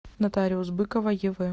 нотариус быкова ев